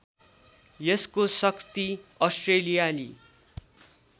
यसको शक्ति अस्ट्रेलियाली